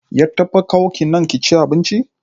Ya taɓa kawo ki nan kici abinci?